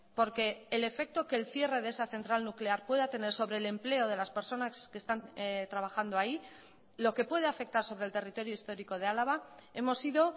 porque el efecto que el cierre de esa central nuclear pueda tener sobre el empleo de las personas que están trabajando ahí lo que puede afectar sobre el territorio histórico de álava hemos sido